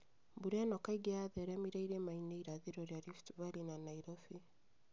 Mbura ĩno kaingĩ yatheremire irĩma-inĩ irathĩro rĩa Rift Valley na Nairobi